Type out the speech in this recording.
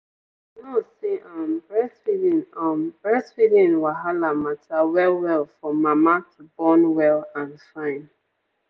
our nurse say um breastfeeding um breastfeeding wahala mata well well for mama to born well and fine.